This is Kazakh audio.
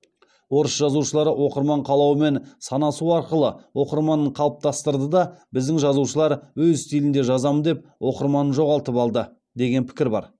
орыс жазушылары оқырман қалауымен санасу арқылы оқырманын қалыптастырды да біздің жазушылар өз стилінде жазамын деп оқырманын жоғалтып алды деген пікір бар